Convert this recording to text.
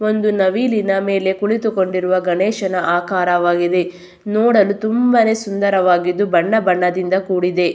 ಒಂದು ನವಿಲಿನ ಮೇಲೆ ಕುಳಿತುಕೊಂಡಿರುವ ಗಣೇಶನ ಆಕಾರವಾಗಿವೆ ನೋಡಲು ತುಂಬಾನೆ ಸುಂದರವಾಗಿದ್ದು ಬಣ್ಣಬಣ್ಣದಿಂದ ಕೂಡಿದೆ.